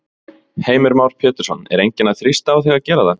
Heimir Már Pétursson: Er enginn að þrýsta á þig að gera það?